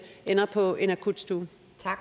ender på en akutstue